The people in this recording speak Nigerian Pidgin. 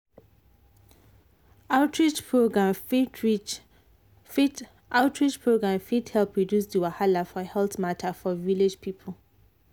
outreach program fit outreach program fit help reduce the wahala for health matter for village people.